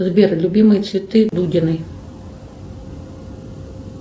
сбер любимые цветы дудиной